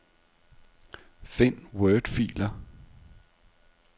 Find wordfiler.